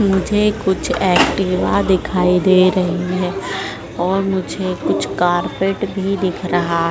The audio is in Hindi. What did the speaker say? मुझे कुछ एक्टिवा दिखाई दे रही हैं और मुझे कुछ कारपेट भी दिख रहा--